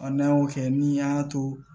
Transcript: n'an y'o kɛ ni an y'a to